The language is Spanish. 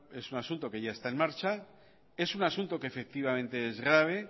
es un asunto que ya está en marcha es un asunto que efectivamente es grave